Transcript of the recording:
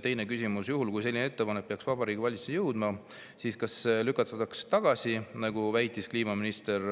" Teine küsimus: "Juhul kui selline ettepanek peaks Vabariigi Valitsuseni jõudma, siis kas see lükatakse tagasi, nagu väitis kliimaminister